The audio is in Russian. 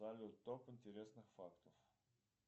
салют топ интересных фактов